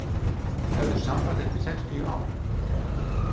Höfðu samband eftir sextíu ár